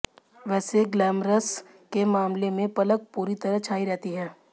वैसे ग्लैमरस के मामले में पलक पूरी तरह छाई रहती हैं